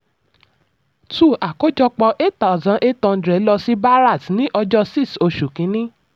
2. àkójọpọ̀ 8800 lọ sí bharat ní ọjọ́ 6 oṣù kìíní.